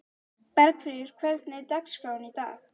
Bergfríður, hvernig er dagskráin í dag?